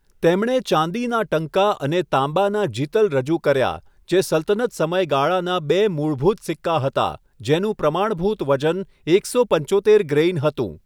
તેમણે ચાંદીના ટંકા અને તાંબાના જિતલ રજૂ કર્યા જે સલ્તનત સમયગાળાના બે મૂળભૂત સિક્કા હતા, જેનું પ્રમાણભૂત વજન એકસો પંચોતેર ગ્રેઇન હતું.